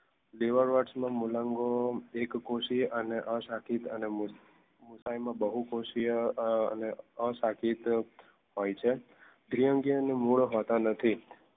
liver વત્ટ મૂલાંગો એકકોષી અને અસાકીદ બહુપોશિયા અને અસાકીદ હોય છે દ્વિઅંગીઓ ને મૂળ હોતા નથી